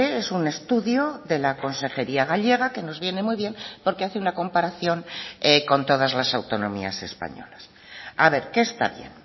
es un estudio de la consejería gallega que nos viene muy bien porque hace una comparación con todas las autonomías españolas a ver qué está bien